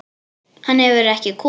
Hann hefur ekki komið.